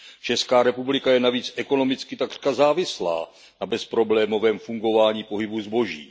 Česká republika je navíc ekonomicky takřka závislá na bezproblémovém fungování pohybu zboží.